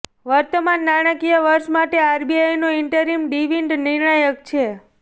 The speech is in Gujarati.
વર્તમાન નાણાકીય વર્ષ માટે આરબીઆઈનો ઇન્ટરિમ ડિવિડન્ડ નિર્ણાયક છે